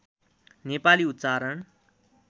नेपाली उच्चारण